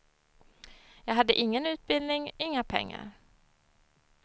Jag hade ingen utbildning, inga pengar.